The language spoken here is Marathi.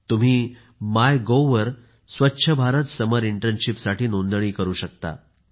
तुम्ही मायगोव्ह वर स्वच्छ भारत समर इंटर्नशिप साठी नोंदणी करू शकता